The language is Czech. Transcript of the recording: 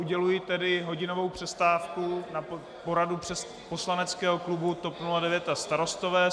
Uděluji tedy hodinovou přestávku na poradu poslaneckého klubu TOP 09 a Starostové.